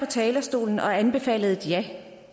talerstolen og anbefalede et ja